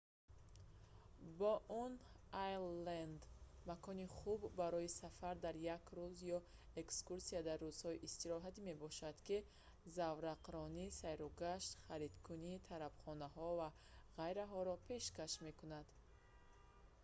боуэн айленд макони хуб барои сафар дар як рӯз ё экскурсия дар рӯзҳои истироҳатӣ мебошад ки заврақронӣ сайру гашт харидкунӣ тарабхонаҳо ва ғайраҳоро пешкаш мекунад